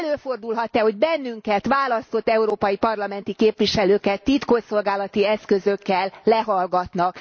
Előfordulhat e, hogy bennünket, választott európai parlamenti képviselőket titkosszolgálati eszközökkel lehallgatnak?